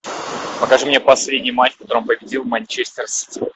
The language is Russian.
покажи мне последний матч в котором победил манчестер сити